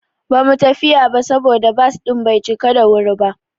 Ba mu tafiya ba saboda bas din bai cika da wuri ba.